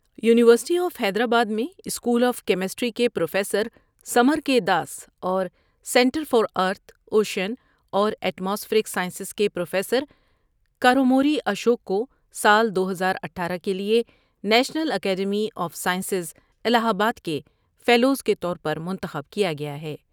You نیورسٹی of Hyderabad میں School of Chemistry کے professor Samar K Das اور سنٹر فار ارتھ ، اوشین اور ایٹ ماسفیرک سائنس کے پروفیسر کا روموری اشوک کو سال دو ہزاراٹھارہ کے لیے National Academy of Science Allahabad کے فیلوز کے طور پر منتخب کیا گیا ہے ۔